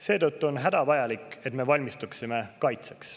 Seetõttu on hädavajalik, et me valmistuksime kaitseks.